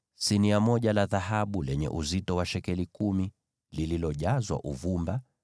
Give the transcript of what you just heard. sinia moja la dhahabu lenye uzito wa shekeli kumi, likiwa limejazwa uvumba;